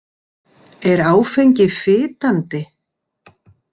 Er áfengi fitandi?